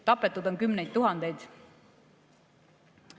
Tapetud on kümneid tuhandeid.